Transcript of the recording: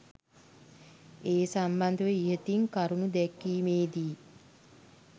ඒ සම්බන්ධව ඉහතින් කරුණු දැක්වීමේ දී